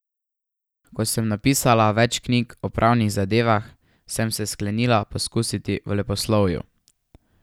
Ko sem napisala več knjig o pravnih zadevah, sem se sklenila poskusiti v leposlovju.